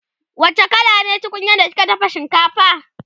wacce kala ce tunkunyar da kika dafa shinkafa?